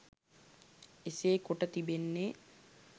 එසේ කොට තිබෙන්නේ